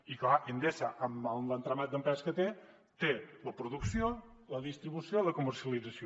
i clar endesa amb l’entramat d’empreses que té té la producció la distribució i la comercialització